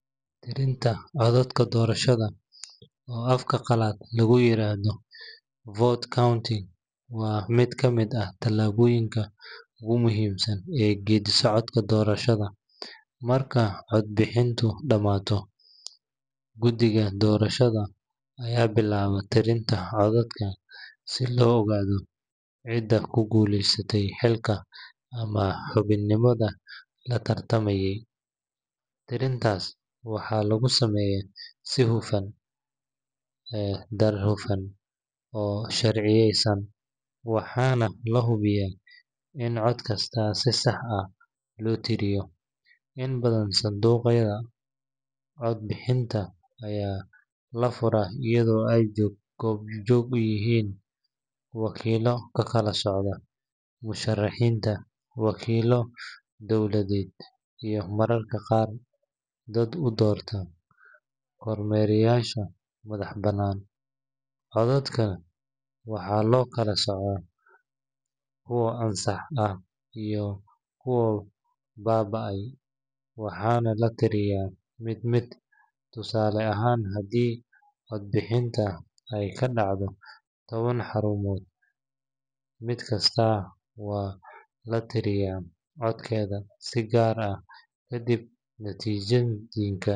Tirinta codadka doorashada, oo afka qalaad lagu yiraahdo vote counting, waa mid ka mid ah tallaabooyinka ugu muhiimsan ee geedi-socodka doorashada. Marka codbixintu dhammaato, guddiga doorashada ayaa bilaaba tirinta codadka si loo ogaado cidda ku guuleysatay xilka ama xubinimada la tartamayey. Tirintaas waxaa lagu sameeyaa si hufan, daahfuran, oo sharciyeysan, waxaana la hubiyaa in cod kasta si sax ah loo tiriyo. Inta badan, sanduuqyada codbixinta ayaa la furaa iyadoo ay goobjoog yihiin wakiillo ka kala socda musharrixiinta, wakiillo dawladeed, iyo mararka qaar dad u doorka kormeereyaasha madax-bannaan. Codadka waxaa loo kala soocaa kuwa ansax ah iyo kuwa baaba’ay, waxaana la tirinayaa mid mid. Tusaale ahaan, haddii codbixinta ay ka dhacday toban xarumood, mid kasta waxa la tirinayaa codadkeeda si gaar ah ka dibna natiijooyinka.